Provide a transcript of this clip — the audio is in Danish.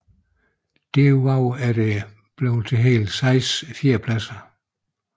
Derudover er det blevet til hele seks fjerdepladser